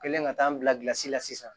Kɛlen ka taa n bila kilasi la sisan